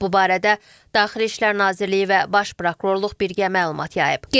Bu barədə Daxili İşlər Nazirliyi və Baş Prokurorluq birgə məlumat yayıb.